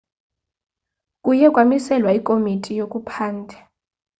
kuye kwamiselwa ikomiti yokuphanda